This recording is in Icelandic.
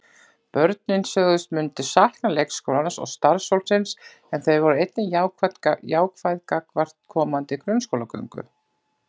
Börnin sögðust myndu sakna leikskólans og starfsfólksins en þau voru einnig jákvæð gagnvart komandi grunnskólagöngu.